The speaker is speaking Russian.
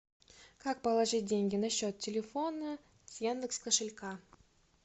как положить деньги на счет телефона с яндекс кошелька